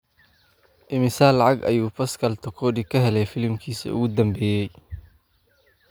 immisa lacag ah ayuu Pascal Tokodi ka helay filimkiisii ​​ugu dambeeyay